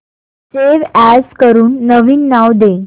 save as करून नवीन नाव दे